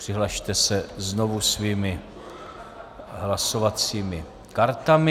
Přihlaste se znovu svými hlasovacími kartami.